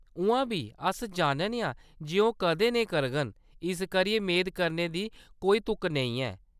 उʼआं बी, अस जानने आं जे ओह्‌‌ कदें नेईं करङन, इस करियै मेद करने दी कोई तुक नेईं ऐ।